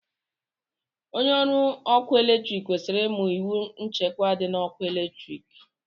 Onye ọrụ ọkụ eletrik kwesịrị ịma iwu nchekwa dị na ọkụ eletrik